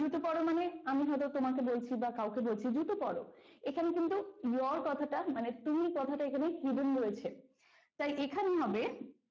জুতো পরো মানে আমি হয়তো তোমাকে বলছি বা কাউকে বলছি জুতো পরো এখানে কিন্তু your কথাটা মানে তুমি কথাটা এখানে hidden রয়েছে তাই এখানে হবে,